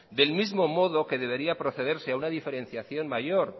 del mismo modo que debería procederse a una diferenciación mayor